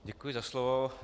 Děkuji za slovo.